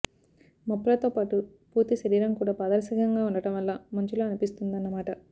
మొప్పలతో పాటు పూర్తి శరీరం కూడా పారదర్శకంగా ఉండటం వల్ల మంచులా అనిపిస్తుందన్నమాట